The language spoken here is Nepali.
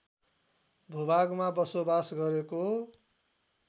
भूभागमा बसोबास गरेको